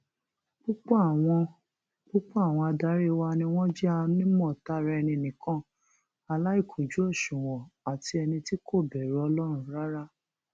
púpọ àwọn púpọ àwọn adarí wa ni wọn jẹ onímọtaraénì nìkan aláìkùnjú òṣùwọn àti ẹni tí kò bẹrù ọlọrun rárá